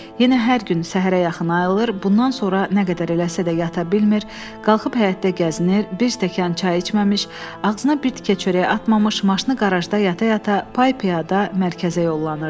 Yenə hər gün səhərə yaxın ayılır, bundan sonra nə qədər eləsə də yata bilmir, qalxıb həyətdə gəzinir, bir stəkan çay içməmiş, ağzına bir tikə çörək atmamış maşını qarajda yata-yata pay-piyada mərkəzə yollanırdı.